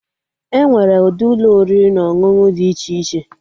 Enwere ụdị Ụlọ oriri na ọṅụṅụ dị iche iche